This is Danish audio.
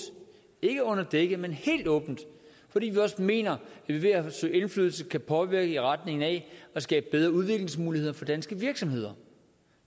ikke under dække men helt åbent fordi vi mener at vi ved at søge indflydelse kan påvirke i retning af at skabe bedre udviklingsmuligheder for danske virksomheder